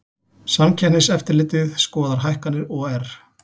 Samkeppniseftirlitið skoðar hækkanir OR